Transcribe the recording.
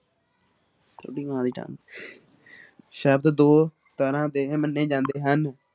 ਸ਼ਬਦ ਦੋ ਤਰ੍ਹਾਂ ਦੇ ਮੰਨੇ ਜਾਂਦੇ ਹਨ।